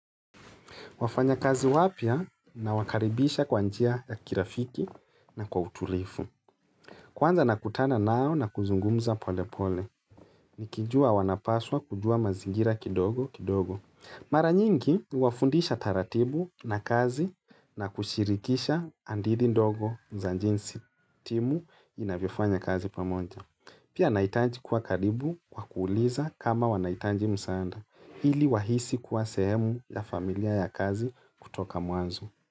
Wafanyakazi wapya na wakaribisha kwa njia ya kirafiki na kwa utulifu. Kwanza na kutana nao na kuzungumza pole pole. Nikijua wanapaswa kujua mazingira kidogo kidogo. Mara nyingi wafundisha taratibu na kazi na kushirikisha andidi ndogo za njinsi timu inavofanya kazi pamoja. Pia naitaji kuwa karibu kwa kuuliza kama wanahitanji msaanda. Hili wahisi kuwa sehemu ya familia ya kazi kutoka mwanzo.